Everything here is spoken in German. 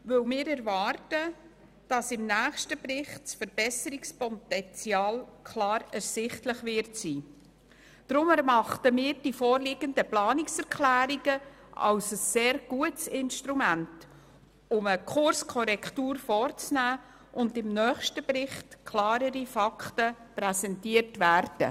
Wir erwarten, dass das Verbesserungspotenzial im nächsten Bericht klar ersichtlich wird und erachten die vorliegenden Planungserklärungen als sehr gute Instrumente, um eine Kurskorrektur zu erzielen, damit im nächsten Bericht klarere Fakten präsentiert werden.